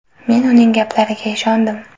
Men uning gaplariga ishondim.